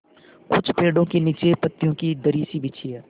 कुछ पेड़ो के नीचे पतियो की दरी सी बिछी है